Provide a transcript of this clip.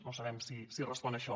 no sabem si respon a això